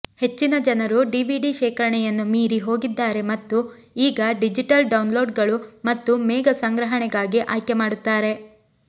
ಹೆಚ್ಚಿನ ಜನರು ಡಿವಿಡಿ ಶೇಖರಣೆಯನ್ನು ಮೀರಿ ಹೋಗಿದ್ದಾರೆ ಮತ್ತು ಈಗ ಡಿಜಿಟಲ್ ಡೌನ್ಲೋಡ್ಗಳು ಮತ್ತು ಮೇಘ ಸಂಗ್ರಹಣೆಗಾಗಿ ಆಯ್ಕೆ ಮಾಡುತ್ತಾರೆ